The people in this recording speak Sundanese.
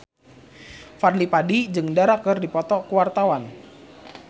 Fadly Padi jeung Dara keur dipoto ku wartawan